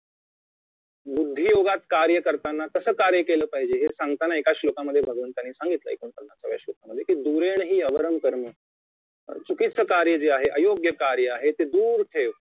बुद्धीयोगात कार्य करताना कसं कार्य केले पाहिजे हे सांगताना एका श्लोकामध्ये भगवंतांनी सांगितले एकोणपन्नासाव्या श्लोकमध्ये दुरेंनहि अवर्रम कर्म चुकीचे कार्य जे आहे अयोग्य कार्य आहे ते दूर ठेव